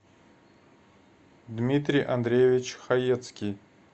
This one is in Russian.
дмитрий андреевич хаецкий